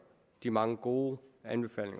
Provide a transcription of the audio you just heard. de mange gode anbefalinger